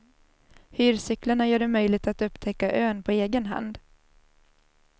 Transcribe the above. Hyrcyklarna gör det möjligt att upptäcka ön på egen hand.